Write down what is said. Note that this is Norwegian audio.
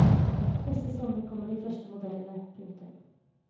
Neste sommer kommer de første modellene. punktum